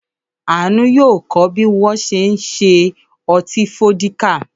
Àánú yóò kọ́ bí wọ́n ṣe ń ṣe ọtí fódíkà.